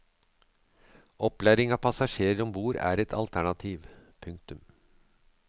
Opplæring av passasjerer om bord er et alternativ. punktum